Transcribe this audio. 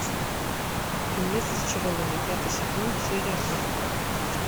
фильмец зачарованные пятый сезон серия сорок